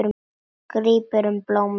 Grípur um blómin.